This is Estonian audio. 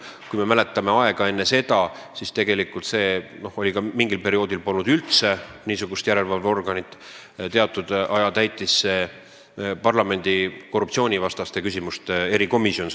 Kui me meenutame aega enne seda, siis mingil perioodil polnud üldse niisugust järelevalveorganit, teatud aja täitis seda rolli parlamendi korruptsioonivastaste küsimuste erikomisjon.